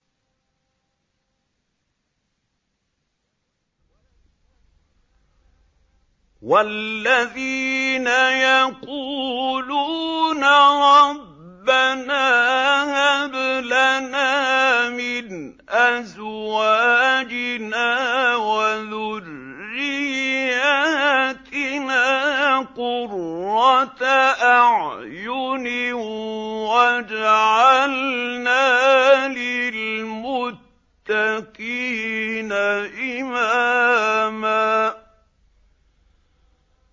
وَالَّذِينَ يَقُولُونَ رَبَّنَا هَبْ لَنَا مِنْ أَزْوَاجِنَا وَذُرِّيَّاتِنَا قُرَّةَ أَعْيُنٍ وَاجْعَلْنَا لِلْمُتَّقِينَ إِمَامًا